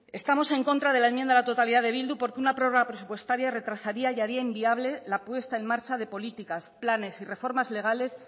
estamos en contra de la enmienda a la totalidad de bildu porque una prórroga presupuestaria retrasaría y haría inviable la puesta en marcha de políticas planes y reformas legales